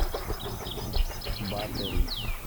батори